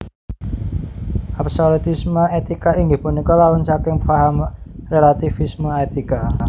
Absolutisme étika inggih punika lawan saking faham rélativisme étika